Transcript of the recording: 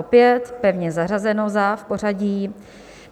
Opět pevně zařazeno za pořadí.